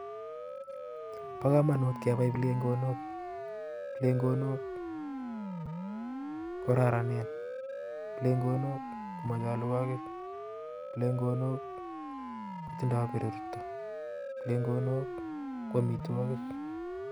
Bo komonut kebai plengonok, plengonok ko kororonen, plengonok kotindoi berurto ak ichek ko amitwogiik